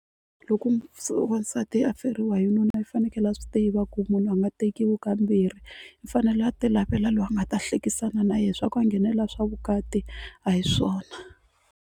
Loko se wansati a feriwa hi nuna i fanekele a swi tiva ku munhu a nga tekiwi ka mbirhi u fanela a ti lavela loyi a nga ta hlekisana na yena swa ku a nghenelela swa vukati a hi swona.